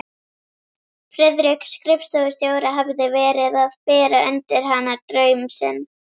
Friðrik skrifstofustjóri hafði verið að bera undir hana draum sinn.